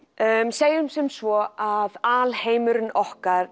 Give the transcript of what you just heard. segjum sem svo að alheimurinn okkar